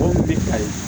ayi